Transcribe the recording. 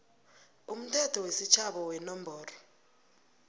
umthetho wesitjhaba wenomboro